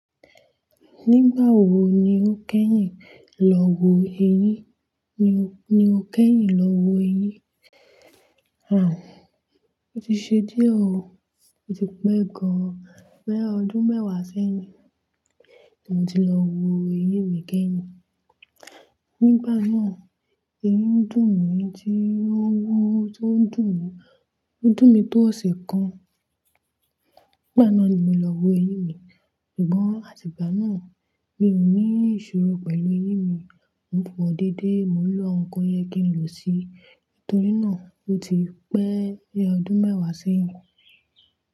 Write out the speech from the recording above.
Nígbà wo ni o kẹ́yìn lọ wo eyín? Ni o, ni o kẹ́yìn lọ wo eyín? A, ó ti ṣe díẹ̀ o. Ó ti pẹ́ gan-an. Lẹ́yọdún mẹ́wàá sẹ́yìn ni mo ti lọ wo eyín mi kẹ́yìn. Nígbà náà, eyín dùn mi jí, owó tó dùn mi, ó dùn mi tó ọ̀sẹ̀ kan. Nígbà náà ni mo lọ wo eyín mi. Ṣùgbọ́n àtìgbà náà mi ò ní ìṣòro pẹ̀lú eyín mi. Ò ń fọ dédé, mò ń lo ohunko yẹ kí n lò sí i. Nítorí náà ó ti pẹ́ bi ọdún mẹ́wàá sẹ́yìn.